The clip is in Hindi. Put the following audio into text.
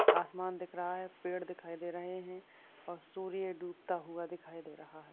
आसमान दिख रहा है पेड़ दिखाई दे रहे है और सूर्य डूबता हुआ दिखाई दे रहा है।